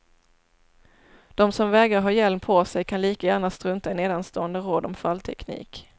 De som vägrar ha hjälm på sig kan lika gärna strunta i nedanstående råd om fallteknik.